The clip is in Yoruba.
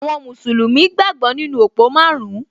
Àwọn mùsùlùmí gbàgbọ́ nínú òpó márùn-ún